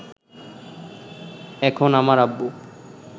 এখন আমার আব্বু